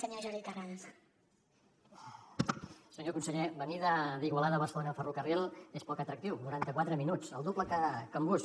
senyor conseller venir d’igualada a barcelona en ferrocarril és poc atractiu noranta quatre minuts el doble que en bus